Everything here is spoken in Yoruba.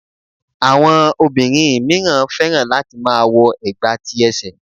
Àwọn obìnrin míràn fẹ́ràn láti má a wo ẹ̀gbà ti ẹsẹ̀